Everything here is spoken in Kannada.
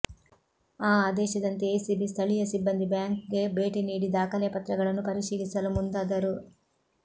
ಆ ಆದೇಶದಂತೆ ಎಸಿಬಿ ಸ್ಥಳೀಯ ಸಿಬ್ಬಂದಿ ಬ್ಯಾಂಕ್ಗೆ ಭೇಟಿ ನೀಡಿ ದಾಖಲೆಪತ್ರಗಳನ್ನು ಪರಿಶೀಲಿಸಲು ಮುಂದಾದರು